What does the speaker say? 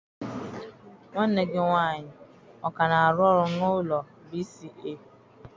Nwanne gị nwaanyị ọ ka na-arụ n'ụlọ ọrụ B.C.A?